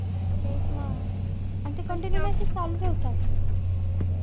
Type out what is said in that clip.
तेच ना. आणि ते continue message चालू राहतात.